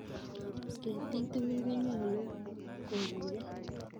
Ketiik tugul konyolu koguiyo.